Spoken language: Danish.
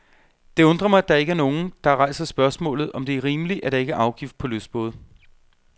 Det undrer mig, at der ikke er nogen, der rejser spørgsmålet, om det er rimeligt, at der ikke er afgift på lystbåde.